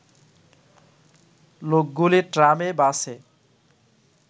লোকগুলি ট্রামে-বাসে